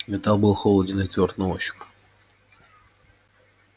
металл был холоден и твёрд на ощупь